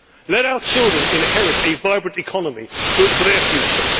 Let our children inherit a vibrant economy built for their future.